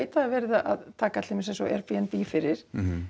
það er verið að taka Airbnb fyrir